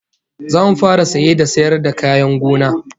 Zamu fara saye da sayar da kayan gona